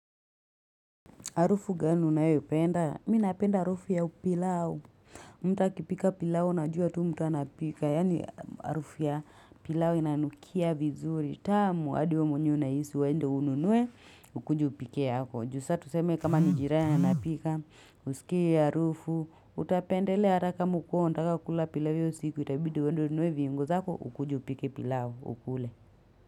Harufu gani unayo penda, mimi napenda harufu ya pilao, mtu akipika pilao, najua tu mtu anapika, yani Harufu ya pilau inanukia vizuri, tamu, hadi wewe mwenyewe unahisi uende ununue, ukuje upikie yako. Ju sa tuseme kama ni jirani anapika, usikie hiyo harufu, utapendelea, hata kama hukuwa unataka kukula pilau hiyo siku, itabidi uendo ununuwe viungo zako, ukuje upike pilau, ukule.